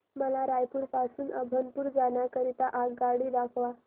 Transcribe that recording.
मला रायपुर पासून अभनपुर जाण्या करीता आगगाडी दाखवा